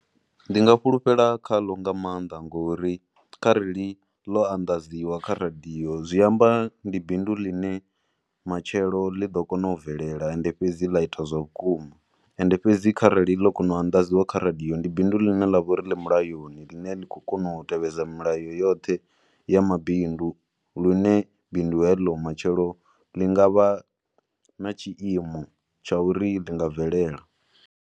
Ndi nga fhulufhela khaḽo nga maanḓa ngori kharali ḽo anḓadziwa kha radio zwi amba ndi bindu ḽine matshelo ḽi ḓo kona u bvelela and fhedzi ḽa ita zwa vhukuma. And fhedzi kharali ḽo kona u anḓadziwa kha radio ndi bindu ḽine ḽa vha uri ḽi mulayoni ḽine ḽi khou kona u tevhedza milayo yoṱhe ya mabindu lune bindu heḽi matshelo ḽi nga vha na tshiimo tsha uri ḽi nga bvelela.